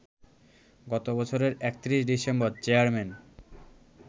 গত বছরের ৩১ December chairman